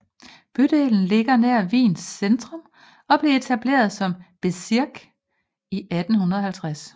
Bydelen ligger nær Wiens centrum og blev etableret som bezirk i 1850